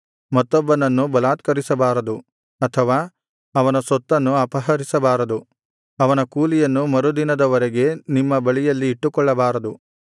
ಮತ್ತೊಬ್ಬನನ್ನು ಬಲಾತ್ಕರಿಸಬಾರದು ಅಥವಾ ಅವನ ಸೊತ್ತನ್ನು ಅಪಹರಿಸಬಾರದು ಅವನ ಕೂಲಿಯನ್ನು ಮರುದಿನದ ವರೆಗೆ ನಿಮ್ಮ ಬಳಿಯಲ್ಲಿ ಇಟ್ಟುಕೊಳ್ಳಬಾರದು